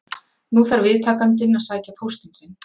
Nú þarf viðtakandinn að sækja póstinn sinn.